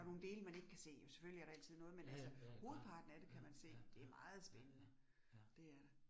Ja. Ja ja, ja ja klart. Ja, ja, ja, ja, ja, ja